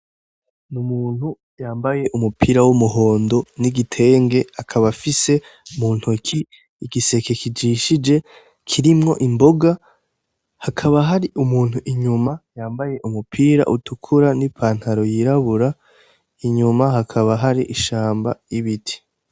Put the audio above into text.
N'umuntu yambaye umupira w'umhondo n'igitenge akaba afise muntoke igiseke kijishije kirimwo imboga hakaba hari umuntu inyuma yambaye umupira utukura nipantaro yirabura inyuma hakaba hari ishamba y'ibiti.